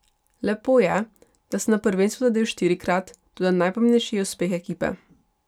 Lepo je, da sem na prvenstvu zadel štirikrat, toda najpomembnejši je uspeh ekipe.